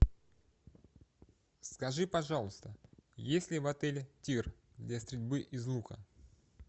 скажи пожалуйста есть ли в отеле тир для стрельбы из лука